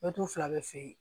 Mɛtiri fila bɛ feere